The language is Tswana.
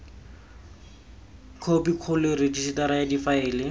khophi kgolo rejisetara ya difaele